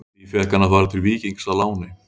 Því fékk hann að fara til Víkings á láni.